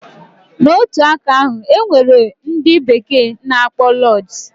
Na otu aka ahu, enwere ndi bekee na akpọ lodges